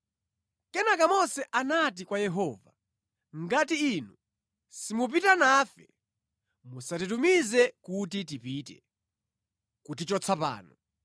Kenaka Mose anati kwa Yehova, “Ngati inu simupita nafe, musatitumize kuti tipite, kutichotsa pano.